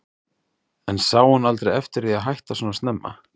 En sá hún aldrei eftir því að hætta svona snemma?